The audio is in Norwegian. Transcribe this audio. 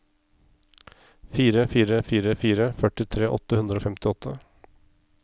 fire fire fire fire førtitre åtte hundre og femtiåtte